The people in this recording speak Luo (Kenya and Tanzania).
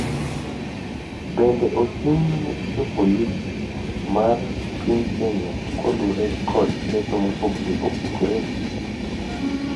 bende ochung’ ne jopolisi mag piny Kenya kaluwore kod ketho mopogore opogore,